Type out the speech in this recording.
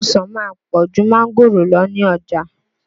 Ọsàn ma ń pọ̀ jù máńgòrò lọ ní ọjà.